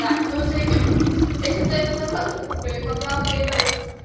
да мы уже идём я сейчас заеду за сладким куплю и пока вы это вот